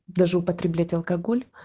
даже употреблять алкоголь